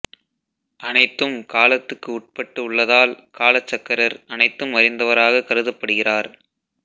அனைத்தும் காலத்துக்கு உட்பட்டு உள்ளதால் காலசக்கரர் அனைத்தும் அறிந்தவராக கருதப்படுகிறார்